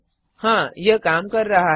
हाँ यह काम कर रहा है